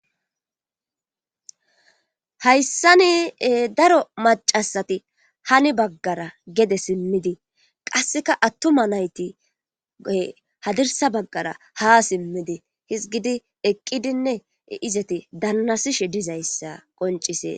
hayssani daro macasati hani baggara gede simmidi qasseka attuma nayti hadirsa baggara ha simmidi hizgidi eqqidinne izati dannasishe dizayssa qoncisees